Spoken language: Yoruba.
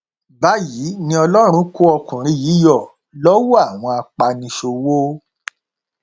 báyìí ni ọlọrun kó ọkùnrin yìí yọ lọwọ àwọn apaniṣòwò